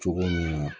Cogo min na